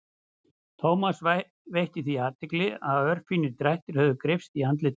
Thomas veitti því athygli að örfínir drættir höfðu greypst í andlitið.